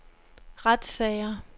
retssager